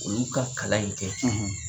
Olu ka kalan in kɛ,